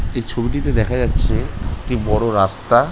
এই ছবিটিতে দেখা যাচ্ছে একটি বড় রাস্তা--